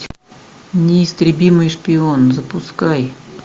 неистребимый шпион запускай